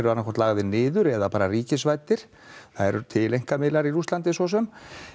annað hvort lagðir niður eða ríkisvæddir það eru til einkamiðlar í Rússlandi svo sem